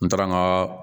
N taara n ka